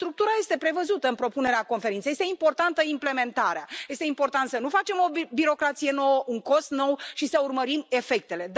Structura este prevăzută în propunerea conferinței este importantă implementarea, este important să nu facem o birocrație nouă, un cost nou și să urmărim efectele.